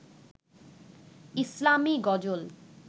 ইসলামি গজল